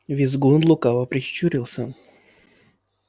визгун лукаво прищурился